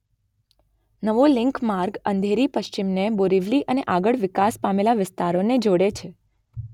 નવો લિંક માર્ગ અંધેરી પશ્ચિમને બોરિવલી અને આગળ વિકાસ પામેલાં વિસ્તારોને જોડે છે